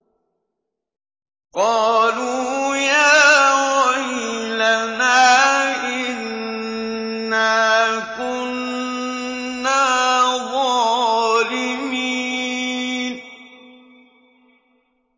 قَالُوا يَا وَيْلَنَا إِنَّا كُنَّا ظَالِمِينَ